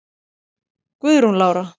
Guðrún Lára.